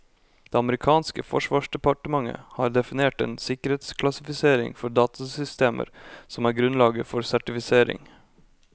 Det amerikanske forsvarsdepartementet har definert en sikkerhetsklassifisering for datasystemer som er grunnlaget for sertifisering.